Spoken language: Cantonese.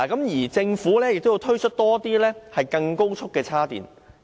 而且，政府更需要推出更多高速充電位。